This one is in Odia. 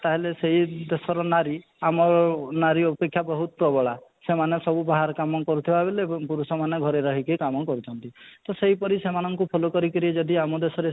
ତାହେଲେ ସେଇ ଦେଶର ନାରୀ ଆମ ନାରୀ ଅପେକ୍ଷା ବହୁତ ପ୍ରବଳା ସେମାନେ ସବୁ ବାହାର କାମ କରୁଥିବା ବେଲେ ଏବଂ ପୁରୁଷ ମାନେ ଘରେ ରହିକି କାମ କରୁଛନ୍ତି ତ ସେଇ ପରି ସେମାନଙ୍କୁ follow କରି କି ଯଦି ଆମ ଦେଶରେ